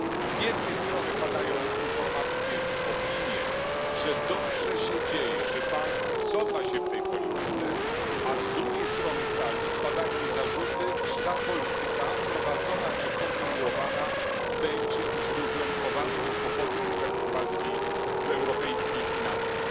Z jednej strony padają informacje, opinie, że dobrze się dzieje, że bank cofa się w tej polityce, a z drugiej strony sali padają zarzuty, iż ta polityka prowadzona czy kontynuowana będzie źródłem poważnych kłopotów i perturbacji w europejskich finansach.